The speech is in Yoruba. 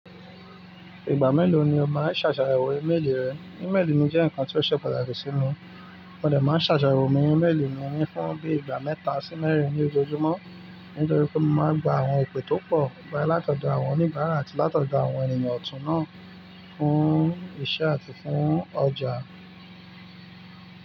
Ìgbà mélòó ni o máa ń ṣàṣàyẹ̀wò ímélì rẹ? Ímélì mi jẹ́ ǹkan tí ó ṣe pàtàkì sí mi, mo de máa ń ṣàṣàyẹ̀wò mi ímélì mi fún bí i ìgbà mẹ́ta sí mẹ́rin ní ojojúmọ́, nítorí pé mo máa ń gba àwọn ìpè tó pọ̀ boya látọ̀dọ̀ àwọn oníbàárà àti látọ̀dọ̀ àwọn ènìyàn ọ̀tún náà fún iṣẹ́ àti fún ọjà.